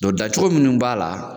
daN cogo mun b'a la